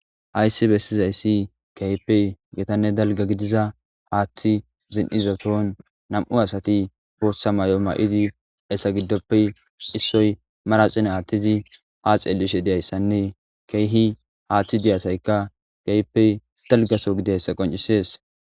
Hayssi beesizayssi keehippe dalgga gidida haaththi zin'idason nam'u asati booththan may'o may'idi hessa giddoppe issoy manaxire aaththidii ha xellishe dizayssanne keehi haaththi diyasaykka keehippe dalggaso gidoyayssa qonccises